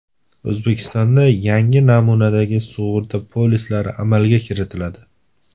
O‘zbekistonda yangi namunadagi sug‘urta polislari amalga kiritiladi.